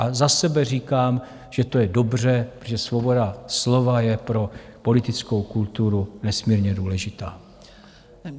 A za sebe říkám, že to je dobře, protože svoboda slova je pro politickou kulturu nesmírně důležitá.